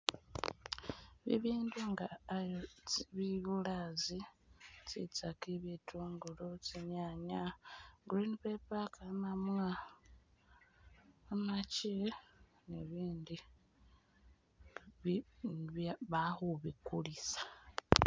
Bibindu nga Irish (birasi), tsintsaki, bitungulu, tsinyanya, green paper, kamamwa, kamachi bibi bibya balikhubikulisa